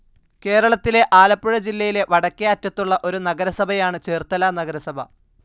കേരളത്തിലെ ആലപ്പുഴ ജില്ലയിലെ വടക്കേ അറ്റത്തുള്ള ഒരു നഗരസഭയാണ് ചേർത്തല നഗരസഭാ.